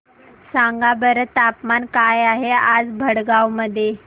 सांगा बरं तापमान काय आहे आज भडगांव मध्ये